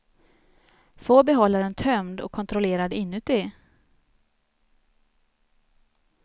Få behållaren tömd och kontrollerad inuti.